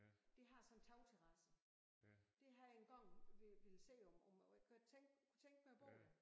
Det har sådan en tagterrasse det har jeg en gang ville se om om jeg tænke kunne tænke mig at bo der